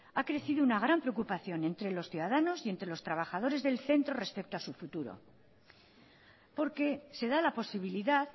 ha crecido una gran preocupación entre los ciudadanos y entre los trabajadores del centro respecto a su futuro porque se da la posibilidad